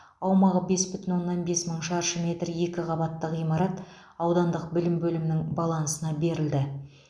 аумағы бес бүтін оннан бес мың шаршы метр екі қабатты ғимарат аудандық білім бөлімінің балансына берілді